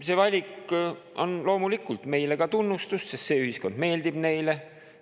See valik on loomulikult meile ka tunnustus, sest see ühiskond meeldib neile.